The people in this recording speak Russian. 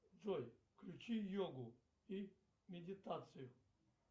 джой включи йогу и медитацию